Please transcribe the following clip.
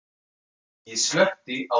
Ég slökkti á lampanum.